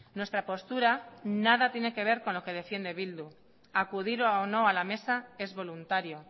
nuestra postura nada tiene que ver con lo que defiende bildu acudir o no a la mesa es voluntario